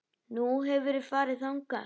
Nú, hefurðu farið þangað?